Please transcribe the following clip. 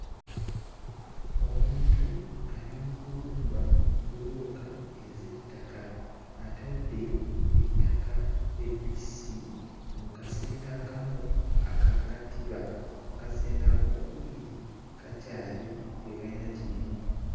Omuntu ali mu kubumba bbulooka ez'ettaka atadde ettaka ebbisi mu kasenge akamu ak'akatiba akasenge akookubiri kakyali tebayina kirimu.